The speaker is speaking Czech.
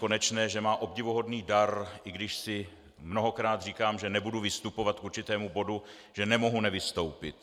Konečné, že má obdivuhodný dar, i když si mnohokrát říkám, že nebudu vystupovat k určitému bodu, že nemohu nevystoupit.